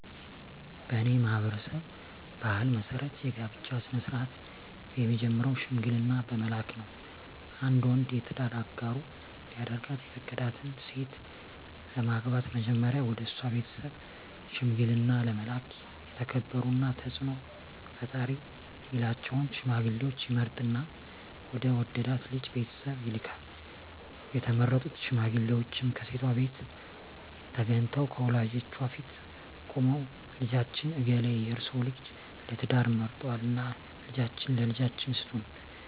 በኔ ማህበረሰብ ባህል መሰረት የጋብቻ ስነ-ስርአት የሚጀምረው ሽምግልና በመላክ ነው። አንድ ወንድ የትዳር አጋሩ ሊያደርጋት የፈቀዳትን ሴት ለማግባት መጀመሪያ ወደሷ ቤተሰብ ሽምግልና ለመላክ የተከበሩና ተጽኖ ፈጣሪ ሚላቸውን ሽማግሌወች ይመርጥና ወደ ወደዳት ልጅ ቤተሰብ ይልካል፣ የተመረጡት ሽማግሌወችም ከሴቷቤት ተገንተው ከወላጆቿ ፊት ቁመው ልጃችን እገሌ የርሰወን ልጅ ለትዳር መርጧልና ልጃችሁን ለልጃችን ስጡን